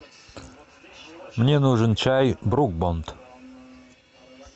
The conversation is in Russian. мне нужен чай брук бонд